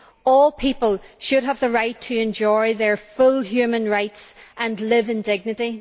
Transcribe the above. All people should have the right to enjoy their full human rights and live in dignity.